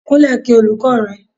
Kunle kí olùkọ́ rẹ.